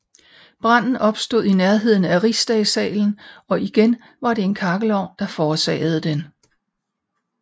Branden opstod i nærheden af Rigsdagssalen og igen var det en kakkelovn der forårsagede den